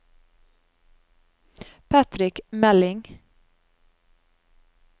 Patrick Meling